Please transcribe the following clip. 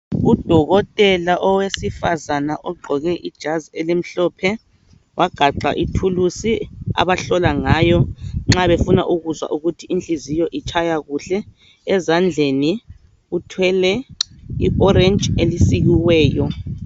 Udokotela owesifazana ogqqoke ijazi elimhlophe wagaxa ithulusi abamhlola ngayo nxa befuna ukuzwa ukuthi inhliziyo itshaya kuhle ezandleni uthwele I orange elisikiweyo